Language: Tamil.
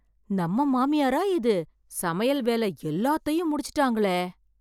நம்ம மாமியாரா இது, சமையல் வேல எல்லாத்தயும் முடிச்சிட்டாங்களே.